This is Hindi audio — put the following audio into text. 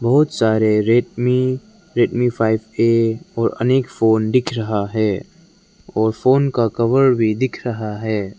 बहुत सारे rack Redmi Redmi five A और अनेक फोन दिख रहा है। और फोन का कवर भी दिख रहा है।